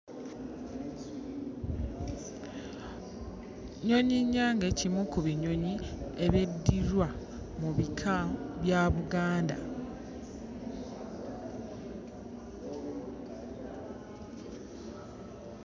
Nnyonyi-nnyange kimu ku binyonyi ebyeddirwa mu bika bya Buganda.